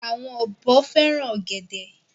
Àwọn ọ̀bọ fẹ́ràn ọ̀gẹ̀dẹ̀.